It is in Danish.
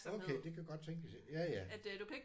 Okay. Det kan godt tænkes. Ja ja